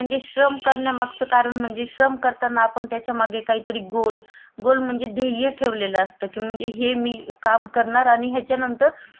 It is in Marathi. काम करणार हानी याचा नंतर मला हा मोबदला मिडेल. म्हणजे श्रम करण्या मागचं एक काही तरी गोल असल्यावर आपण त्या गोष्टीवर कॉन्संट्रेड चांगल करतो आणि